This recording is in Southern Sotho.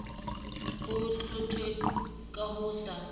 bo hlothe ka ho sa